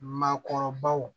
Maakɔrɔbaw